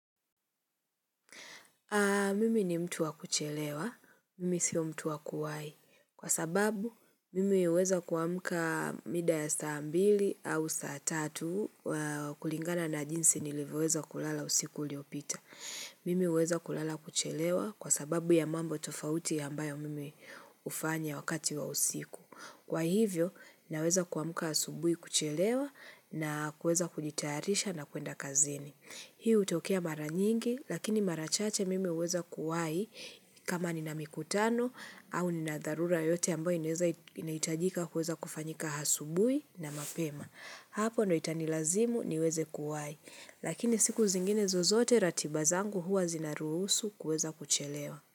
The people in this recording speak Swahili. Mimi ni mtu wa kuchelewa. Mimi sio mtu wa kuwai. Kwa sababu, mimi huweza kuamka muda ya saa ya mbili au saa tatu kulingana na jinsi nilivyoweza kulala usiku uliopita. Mimi huweza kulala kuchelewa kwa sababu ya mambo tofauti ya ambayo mimi hufanya wakati wa usiku. Kwa hivyo, naweza kuamka asubuhi kuchelewa na kuweza kujitayarisha na kuenda kazini. Hiu hutokea mara nyingi, lakini mara chache mimi huweza kuwai kama nina mikutano au nina dharura yote ambayo inahitajika kuweza kufanyika asubuhi na mapema. Hapo ndo itanilazimu niweze kuwai, lakini siku zingine zozote ratiba zangu huwa zinaruhusu kuweza kuchelewa.